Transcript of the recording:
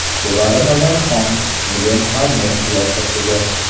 Sevara Nazarxon Milen Farmer qiyofasida.